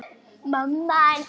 Hún á dóttur.